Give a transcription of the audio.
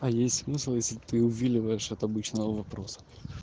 а есть смысл если ты увиливаешь от обычного вопроса